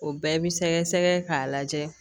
O bɛɛ bi sɛgɛsɛgɛ k'a lajɛ